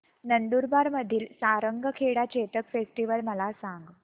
नंदुरबार मधील सारंगखेडा चेतक फेस्टीवल मला सांग